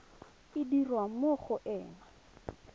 e dirwa mo go ena